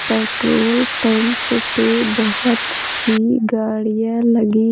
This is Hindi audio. पेट्रोल पंप पे बहुत सी गाड़ियाँ लगी --